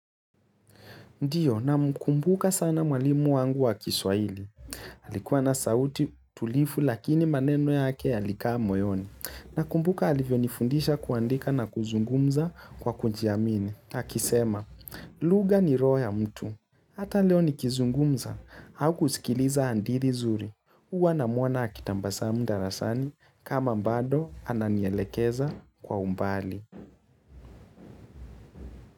Ndiyo, namkumbuka sana mwalimu wangu wa kiswahili. Alikuwa na sauti tulivu lakini maneno yake yalikaa moyoni. Nakumbuka alivyo nifundisha kuandika na kuzungumza kwa kujiamini akisema, lugha ni roho ya mtu. Hata leo nikizungumza au kusikiliza hadithi zuri. Huwa namwona akitabasam darasani kama bado ananielekeza kwa umbali.